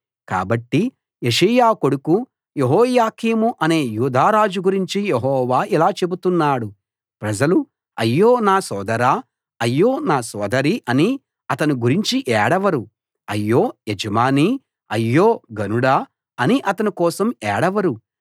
కాబట్టి యోషీయా కొడుకు యెహోయాకీము అనే యూదా రాజు గురించి యెహోవా ఇలా చెబుతున్నాడు ప్రజలు అయ్యో నా సోదరా అయ్యో నా సోదరీ అని అతని గురించి ఏడవరు అయ్యో యజమానీ అయ్యో ఘనుడా అని అతని కోసం ఏడవరు